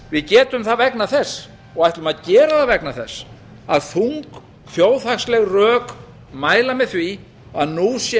við getum það vegna þess og ætlum að gera það vegna þess að þung þjóðhagsleg rök mæla með því að nú sé